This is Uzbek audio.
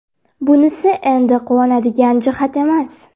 Bunisi endi quvonadigan jihat emas.